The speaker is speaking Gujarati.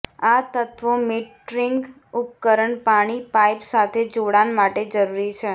આ તત્વો મીટરિંગ ઉપકરણ પાણી પાઇપ સાથે જોડાણ માટે જરૂરી છે